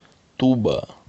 туба